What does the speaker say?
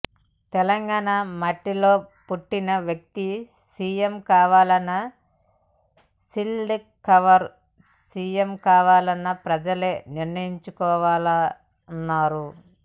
తెలంగాణ మట్టిలో పుట్టిన వ్యక్తి సిఎం కావాలా సీల్డ్ కవర్ సిఎం కావాలా ప్రజలే నిర్ణయించుకోవాలన్నారు